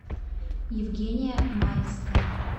евгения маевская